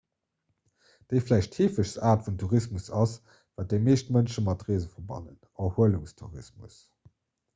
déi vläicht heefegst aart vun tourismus ass wat déi meescht mënsche mat reese verbannen erhuelungstourismus